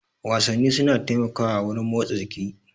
Wasanni suna taimakawa wurin motsa jiki.